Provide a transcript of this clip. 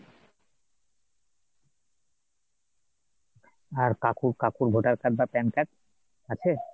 আর কাকু কাকুর voter card বা pan card আছে ?